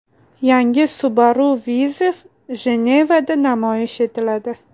Yangi Subaru Viziv Jenevada namoyish etiladi.